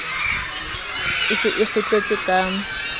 e se e kgutletse ka